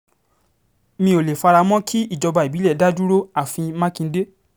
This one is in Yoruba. mi ò lè fara mọ́ kí ìjọba ìbílẹ̀ dá dúró àfi mákindé